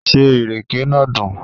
Ṣé ìrèké náà dùn?